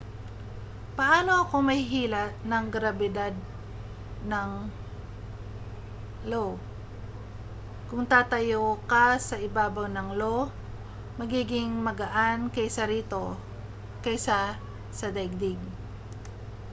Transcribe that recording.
paano ako mahihila ng grabidad ng io kung tatayo ka sa ibabaw ng io magiging mas magaan kaysa rito kaysa sa daigdig